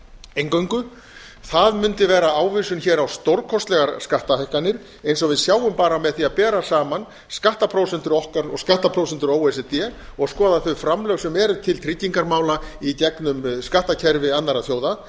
eingöngu það mundi vera ávísun hér á stórkostlegar skattahækkanir eins og við sjáum bara með því að bera sama skattaprósetnur okkar og skattprósentur o e c d og skoða þau framlög sem eru til tryggingamála í gegnum skattkerfi annarra þjóða